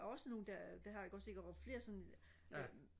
er også nogle der der har ikke også ikke og flere sådan øh